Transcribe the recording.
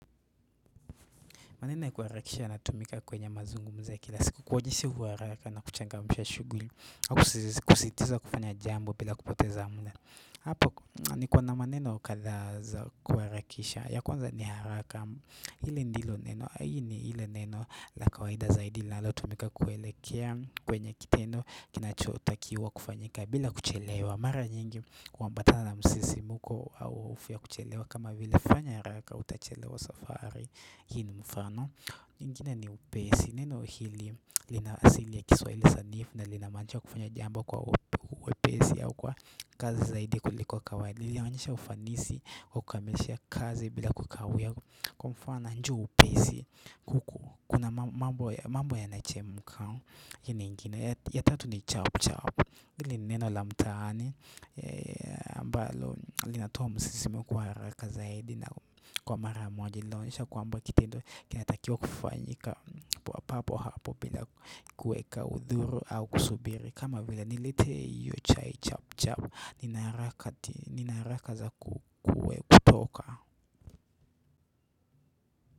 Maneno ya kuharakisha yanatumika kwenye mazungumzo ya kila siku kuonyesha uharaka na kuchangamsha shuguli ako kusisitiza kufanya jambo bila kupoteza mda Apo niko na maneno kadhaa za kuharakisha ya kwanza ni haraka hii ni ile neno la kawaida zaidi linalo tumika zaidi kuelekea kwenye kitendo Kinachotakiwa kufanyika bila kuchelewa Mara nyingi huambatana na msisimuko au hofu ya kuchelewa kama vile fanya haraka utachelewa safari Hii ni mfano, ingine ni upesi, neno hili lina asili ya kiswahili sanifu na linamwachia kufanya jambo kwa uwepesi au kwa kazi zaidi kuliko kawaida, lina maanisha ufanisi, wa kukamilisha kazi bila kukawia Kwa mfana njoo upesi, kuna mambo yanachemka, hii ni ingine ya tatu ni chao chao, hini neno la mtaani, ambalo linatowa msisimuko wa haraka zaidi na kwa mara moja linaonyesha kwamba kitendo kinatakiwa kufanyika papo hapo bila kuweka udhuru au kusubiri kama vila niletee hio chai chap chap Nina haraka za kutoka.